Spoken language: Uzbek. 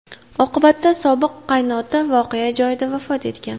Oqibatda sobiq qaynota voqea joyida vafot etgan.